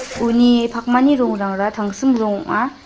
uni pakmani rongrangara tangsim rong ong·a.